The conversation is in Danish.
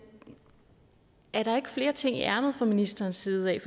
er der ikke flere ting i ærmet fra ministerens side af